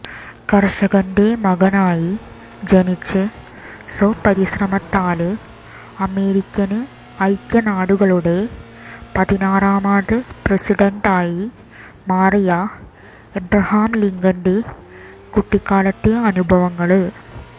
കര്ഷകന്റെ മകനായി ജനിച്ച് സ്വപരിശ്രമത്താല് അമേരിക്കന് ഐക്യനാടുകളുടെ പതിനാറാമത് പ്രസിഡന്റായി മാറിയ എബ്രഹാം ലിങ്കന്റെ കുട്ടിക്കാലത്തെ അനുഭവങ്ങള്